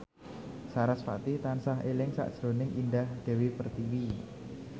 sarasvati tansah eling sakjroning Indah Dewi Pertiwi